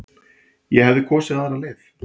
Ég hefði kosið aðra leið.